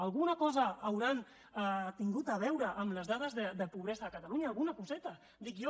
alguna cosa deuen haver tingut a veure amb les dades de pobresa a catalunya alguna coseta dic jo